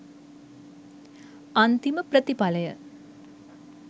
අන්තිම ප්‍රථිපලය